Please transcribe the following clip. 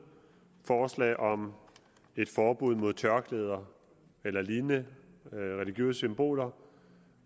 forslag om et forbud mod tørklæder eller lignende religiøse symboler